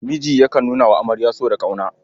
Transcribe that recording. Miji yakan nuna wa amarya so da ƙauna.